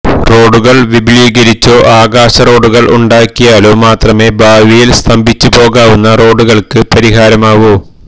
റോഡുകൾ വിപുലീകരിച്ചോ ആകാശ റോഡുകൾ ഉണ്ടാക്കിയാലോ മാത്രമേ ഭാവിയിൽ സ്തംഭിച്ചുപോകാവുന്ന റോഡുകൾക്ക് പരിഹാരമാവൂ